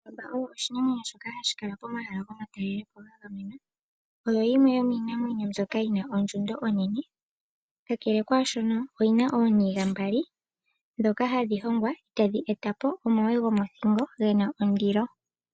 Ondjamba oyo oshinamwenyo shoka hashi kala komahala gomatalelopo. Oyo yimwe yomiinamwenyo mbyoka yi na ondjundo onene. Kakele kwaashono oyi na ooniga mbali ndhoka hadhi hongwa tadhi e ta po omawe gomothingo ge na ondilo.